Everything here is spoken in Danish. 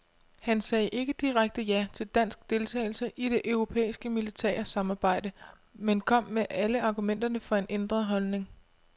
Han sagde ikke direkte ja til dansk deltagelse i det europæiske militære samarbejde, men kom med alle argumenterne for en ændret holdning.